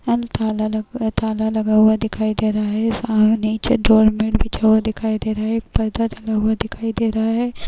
अल ताला लगा हुवा ताला लगा हुवा दिखाई दे रहा है। सामने निचे डोरमैट बिछा हुवा दिखाई दे रहा है। पर्दा लगा हुआ दिखाई दे रहा है।